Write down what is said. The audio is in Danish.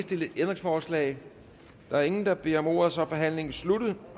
stillet ændringsforslag der er ingen der beder om ordet og så er forhandlingen sluttet